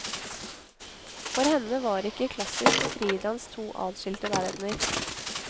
For henne var ikke klassisk og fridans to adskilte verdener.